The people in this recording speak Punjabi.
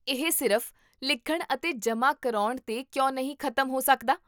ਇਹ ਸਿਰਫ਼ ਲਿਖਣ ਅਤੇ ਜਮ੍ਹਾਂ ਕਰਾਉਣ 'ਤੇ ਕਿਉਂ ਨਹੀਂ ਖ਼ਤਮ ਹੋ ਸਕਦਾ?